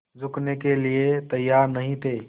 झुकने के लिए तैयार नहीं थे